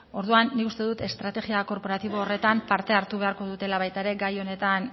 orduan nik uste dut estrategia korporatibo horretan parte hartu beharko dutela baita ere gai honetan